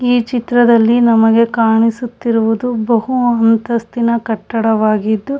ಈ ಚಿತ್ರದಲ್ಲಿ ನಮಗೆ ಕಾಣಿಸುತ್ತಿರುವುದು ಬಹು ಅಂತಸ್ತಿನ ಕಟ್ಟಡವಾಗಿದ್ದು.